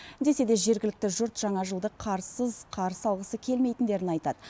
десе де жергілікті жұрт жаңа жылды қарсыз қарсы алғысы келмейтіндерін айтады